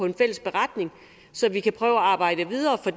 en fælles beretning så vi kan prøve at arbejde videre for